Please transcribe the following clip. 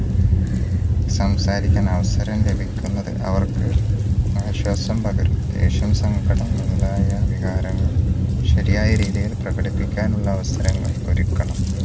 സംസാരിക്കാൻ അവസരം ലഭിക്കുന്നത് അവർക്ക് ആശ്വാസം പകരും ദേഷ്യം സങ്കടം മുതലായ വികാരങ്ങൾ ശരിയായ രീതിയിൽ പ്രകടപ്പിക്കാനുള്ള അവസരങ്ങൾ ഒരുക്കണം